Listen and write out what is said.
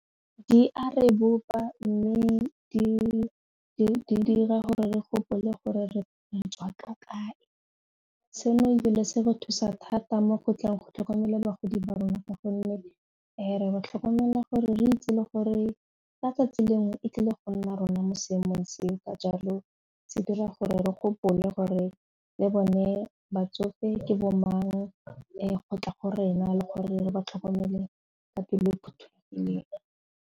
Di a rebolwa mme dira gore re gopole gore re tswa ka kae seno ebile se go thusa thata mo go tleng go tlhokomela bagodi ba rona ka gonne ga re ba tlhokomela gore re itse le gore ka tsatsi lengwe e tlile go nna rona mo seemong seo ka jalo se dira gore re gopole gore le bone batsofe ke bo mang go tla go rena le gore re ba tlhokomele ka pelo phuthulugileng.